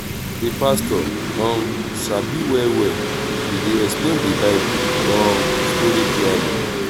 di pastor um sabi well well e dey explain di bible um story clearly.